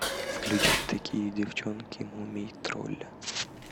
включить такие девчонки мумий тролля